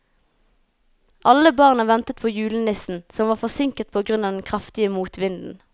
Alle barna ventet på julenissen, som var forsinket på grunn av den kraftige motvinden.